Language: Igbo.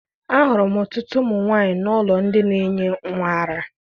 Ahụrụ m ọtụtụ ụmụ nwaanyị n'ụlọ ndị na-enye nwa ara.